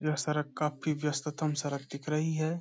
यह सड़क काफी व्यस्ततम सड़क दिख रही है।